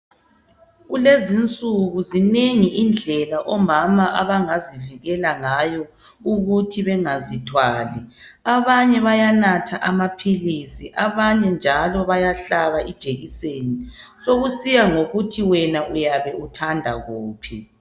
Kulezi insuku zinengi indlela omama abangazivikela ngayo ukuthi bengazithwali abanye bayanatha amaphilisi abanye njalo bayahlaba ijekiseni sokusiya ngokuthi wena uyabe uthanda kuphi.